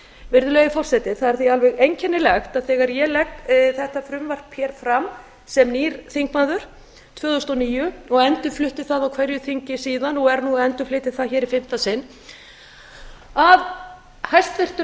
virðulegi forseti það er því alveg einkennilegt að þegar ég legg þetta frumvarp hér fram sem nýr þingmaður tvö þúsund og níu og endurflutti það á hverju þingi síðan og er nú að endurflytja það hér í fimmta sinn að hæstvirtur